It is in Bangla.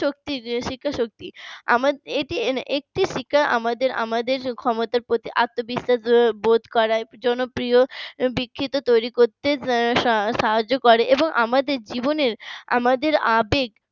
শক্তি শিক্ষা শক্তি আমাদের আমাদের ক্ষমতার প্রতি আত্মবিশ্বাস বোধ করায় জন্য প্রিয় দীক্ষিত তৈরি করতে সাহায্য করে এবং জীবনের আমাদের আবেগ